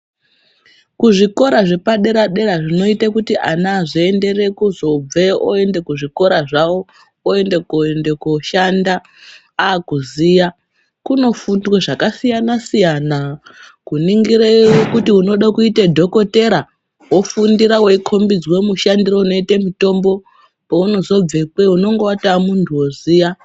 Kuzvikora zvepadera-dera zvinoita kuti ana vazoenderera kuzobveyo oenda kuzvikora zvavo oendekuenda koshanda akuziya kunofundwa zvakasiyana siyana kuningira kuti unode kuita dhokotera wofundiswa wekombidzwa mushandisire unoita mutombo paunozobvekweyo unenge waamuntu woziya.